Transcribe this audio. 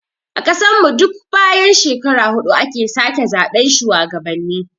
A ƙasan mu duk bayan shekara hudu ake sake zaɓen shuwagabanni